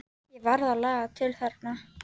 Ég varð að laga til þarna.